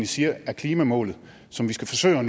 siger er klimamålet som vi skal forsøge